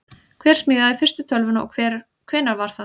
hver smíðaði fyrstu tölvuna og hvenær var það